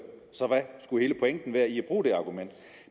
så hvad skulle hele pointen være i at bruge det argument